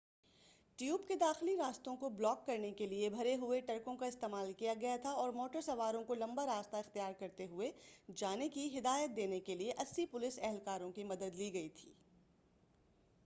tube کے داخلی راستوں کو بلاک کرنے کیلئے بھرے ہوئے ٹرکوں کا استعمال کیا گیا تھا اور موٹر سواروں کو لمبا راستہ اختیار کرتے ہوئے جانے کی ہدایت دینے کیلئے 80 پولیس اہلکاروں کی مدد لی گئی تھی